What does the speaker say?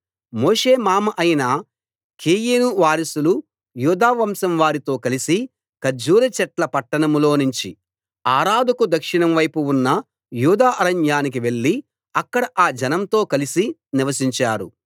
మోషే మామ అయిన కేయిను వారసులు యూదావంశం వారితో కలిసి ఖర్జూరచెట్ల పట్టణంలోనుంచి అరాదుకు దక్షిణంవైపు ఉన్న యూదా అరణ్యానికి వెళ్లి అక్కడ ఆ జనంతో కలిసి నివసించారు